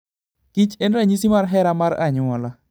kich en ranyisi mar hera mar anyuola.